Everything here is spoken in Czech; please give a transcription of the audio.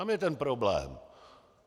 Tam je ten problém!